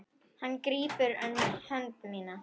Hann grípur um hönd mína.